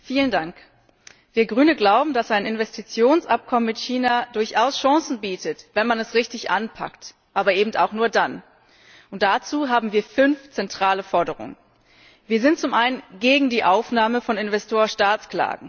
Herr Präsident! Wir als Grüne glauben, dass ein Investitionsabkommen mit China durchaus Chancen bietet, wenn man es richtig anpackt, aber eben auch nur dann. Und dazu haben wir fünf zentrale Forderungen Wir sind zum einen gegen die Aufnahme von Investor Staat Klagen.